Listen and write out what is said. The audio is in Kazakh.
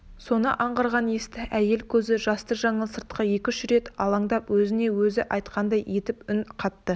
соны аңғарған есті әйел көзі жасты жаңыл сыртқа екі-үш рет алаңдап өзіне-өзі айтқандай етіп үн қатты